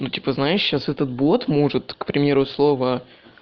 ну типа знаешь сейчас этот бот может к примеру слово